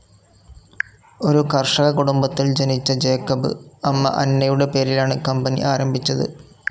ഒരു കർഷക കുടുംബത്തിൽ ജനിച്ച ജേക്കബ് അമ്മ അന്നയുടെ പേരിലാണ് കമ്പനി ആരംഭിച്ചത്.